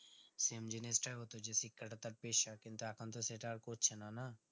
same জিনিসটাই হতো যে শিক্ষা তা তার পেশা কিন্তু এখন তো সেটা আর করছেনা না